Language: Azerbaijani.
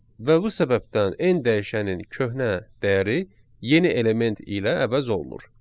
Və bu səbəbdən n dəyişənin köhnə dəyəri yeni element ilə əvəz olunur.